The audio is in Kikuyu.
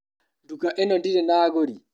Nduka ĩno ndĩrĩ na agũri.